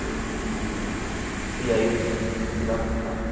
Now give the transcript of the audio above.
E e aí eu tive que me virar muito rápido.